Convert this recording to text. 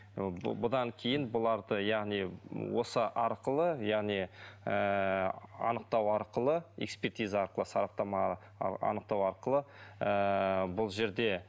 ы бұдан кейін бұларды яғни осы арқылы яғни ыыы анықтау арқылы экспертиза арқылы сараптама анықтау арқылы ыыы бұл жерде